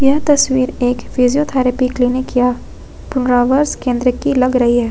यह तस्वीर एक फिजियोथैरेपी क्लिनिक या केंद्र की लग रही है।